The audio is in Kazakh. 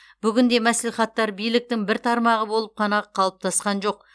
бүгінде мәслихаттар биліктің бір тармағы болып қана қалыптасқан жоқ